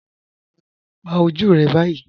Pà ojú rẹ báyì